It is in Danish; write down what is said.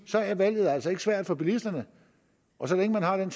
at valget altså ikke er svært for bilisterne og så længe man har den